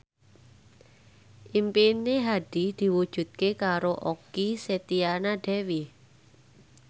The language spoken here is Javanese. impine Hadi diwujudke karo Okky Setiana Dewi